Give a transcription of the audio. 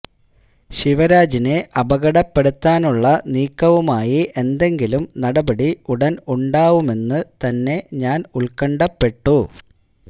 ശിവരാജിനെ അപകടപ്പെടുത്താനുള്ള നീക്കവുമായി എന്തെങ്കിലും നടപടി ഉടന് ഉണ്ടാവുമെന്ന് തന്നെ ഞാന് ഉല്ക്കണ്ഠപ്പെട്ടു